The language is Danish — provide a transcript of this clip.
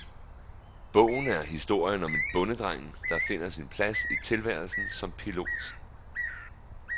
Bogen er historien om en bondedreng, der finder sin plads i tilværelsen som pilot.